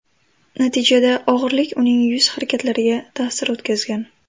Natijada og‘irlik uning yuz harakatlariga ta’sir o‘tkazgan.